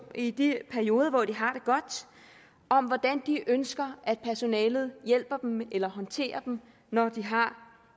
i de perioder hvor de har det godt om hvordan de ønsker at personalet hjælper dem eller håndterer dem når de har